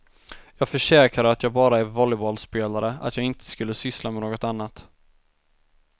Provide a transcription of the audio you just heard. Jag försäkrade att jag bara är volleybollspelare, att jag inte skulle syssla med något annat.